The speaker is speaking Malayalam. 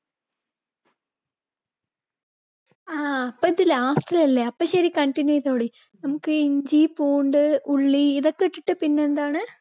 ആ അപ്പ ഇത് last ല് അല്ലേ, അപ്പോ ശരി, continue ചെയ്തോളി. നമ്മുക്ക് ഇഞ്ചി ഉള്ളി ഇതൊക്കെ വെച്ചിട്ട് പിന്നെ എന്താണ്